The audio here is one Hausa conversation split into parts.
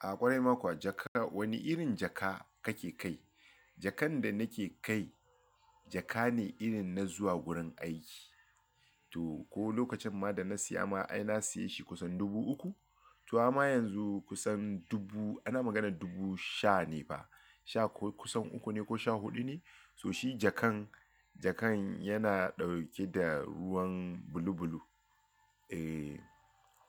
A ƙwarai Makwa, jaka, wani irin jaka kake kai? Jakan da nake kai jaka ne irin na zuwa wurin aiki. To ko lokacin ma da na siya ma ai na siye shi kusan dubu uku. To amma yanzu kusan dubu-- ana maganar dubu sha ne fa, sha ko kusan uku ne ko sha huɗu ne. To shi jakan, jakan yana ɗauke da ruwan bulubulu. E,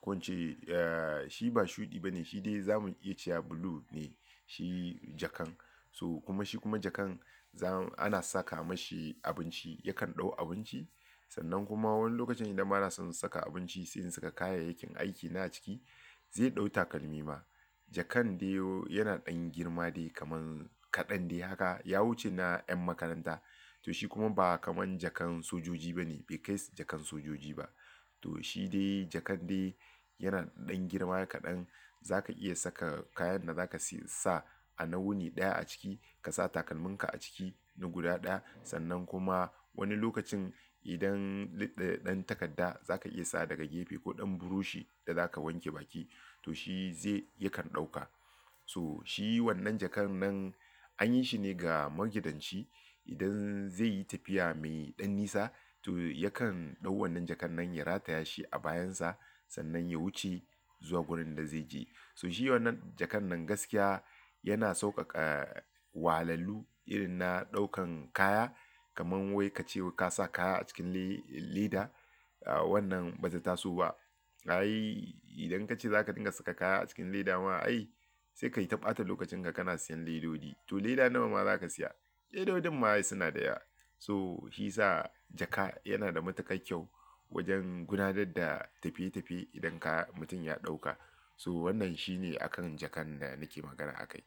ko ince, e, shi ba shuɗi ba ne, shi dai zamu iya cewa blue ne shi jakan. To kuma shi kuma jakan zam ana saka mashi abinci, yakan ɗau abinci. Sannan kuma wani lokaci idan bana son in saka abinci, sai in saka kayayyakin aiki na a ciki zai ɗau takalmi ma. Jakan dai o yana ɗan girma dai kaman kaɗan dai haka. Ya wuce na ƴan makaranta. To shi kuma ba kaman jakan sojoji ba ne, bai kai jakan sojoji ba. To shi dai jakan dai yana ɗan girma kaɗan. Zaka iya saka kayan da zaka si sa a nawuni ɗaya a ciki ka sa takalmin ka a ciki na guda ɗaya. Sannan kuma wani lokacin idan lidde ɗan takarda zaka iya sa daga gefe ko ɗan buroshi da zaka wanke baki to shi zai-- yakan ɗauka. To shi wannan jakan nan an yi shi ne ga magidanci. Idan zai yi tafiya mai ɗan nisa to yakan ɗau wannan jakan nan ya rataya shi a bayan sa sannan ya wuce zuwa gurin da zai je. So shi wannan jakan nan gaskiya yana sauƙaƙa wahalallu irin na ɗaukan kaya. Kaman wai ka ce ka sa kaya a cikin le-leda. Ah wannan ba za ta taso ba. Ai idan ka ce za ka dinga saka kaya a cikin leda ma ai sai ka yi ta ɓata lokacin ka kana siyan ledodi. To leda nawa ma za ka siya? Ledodin ma ai suna da yawa. So shi ya sa jaka yana da matuƙan kyau wajen gudanar da tafiye tafiye idan ka mutum ya ɗauka. So wannan shi ne akan jakan da nake magana akai.